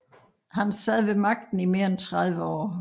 Han sad ved magten i mere end 30 år